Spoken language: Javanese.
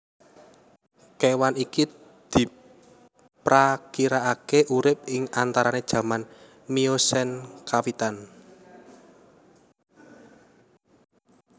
Kewan iki diprakirakake urip ing antarane jaman Miocene kawitan